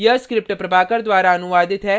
आशा करते हैं कि आपने इस perl के ट्यूटोरियल का आनंद लिया होगा